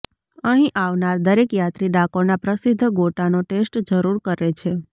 અહીં આવનાર દરેક યાત્રી ડાકોરના પ્રસિધ્ધ ગોટાનો ટેસ્ટ જરુર કરે છે